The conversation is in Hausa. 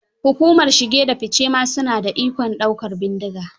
Hukumar shige da fice ma su na da ikon daukar bindiga.